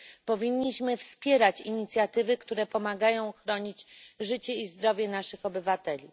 Powinniśmy wspierać inicjatywy, które pomagają chronić życie i zdrowie naszych obywateli.